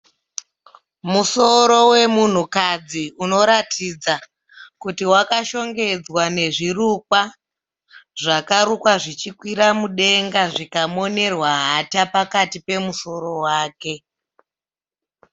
Musoro wemunhukadzi unoratidza kuti wakashongedza nezvirukwa. Zvakarukwa zvichikwira mudenga zvikamonerwa hata pakati pemusoro wake.